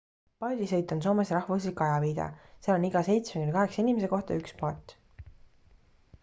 paadisõit on soomes rahvuslik ajaviide seal on iga seitsme kuni kaheksa inimese kohta üks paat